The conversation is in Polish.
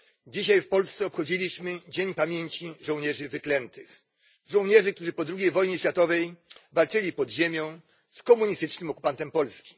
Dzisiaj w Polsce obchodziliśmy Dzień Pamięci Żołnierzy Wyklętych, żołnierzy, którzy po drugiej wojnie światowej walczyli pod ziemią z komunistycznym okupantem Polski